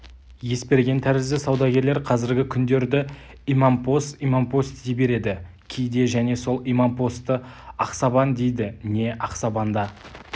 есберген тәрізді саудагерлер қазіргі күндерді имампос-имампос дей береді кейде және сол имампосты ақсабан дейді не ақсабанда